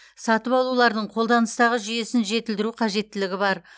сатып алулардың қолданыстағы жүйесін жетілдіру қажеттілігі бар